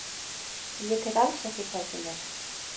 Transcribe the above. Ég tek alls ekki hvað sem er.